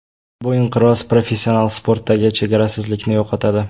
Bu inqiroz professional sportdagi chegarasizlikni yo‘qotadi.